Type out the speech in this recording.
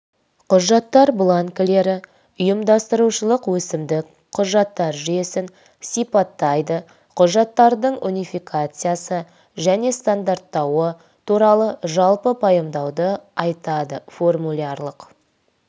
құжаттар бланкілері ұйымдастырушылық өкімдік құжаттар жүйесін сипаттайды құжаттардың унификациясы және стандарттауы туралы жалпы пайымдауды айтады формулярлық